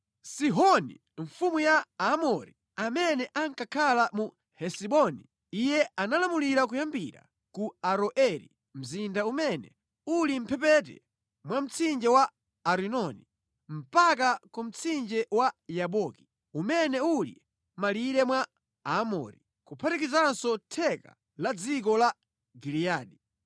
Sihoni mfumu ya Aamori, amene ankakhala mu Hesiboni. Iye analamulira kuyambira ku Aroeri mzinda umene uli mʼmphepete mwa mtsinje wa Arinoni, mpaka ku mtsinje wa Yaboki, umene uli mʼmalire mwa Aamori, kuphatikizanso theka la dziko la Giliyadi.